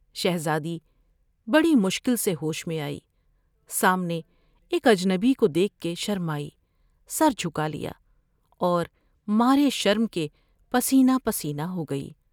شہزادی بڑی مشکل سے ہوش میں آئی ، سامنے ایک اجنبی کو دیکھ کے شرمائی ، سر جھکا لیا ، اور مارے شرم کے پسینہ پسینہ ہوگئی ۔